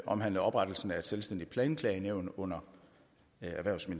omhandler oprettelsen af et selvstændigt nævn planklagenævnet under erhvervs og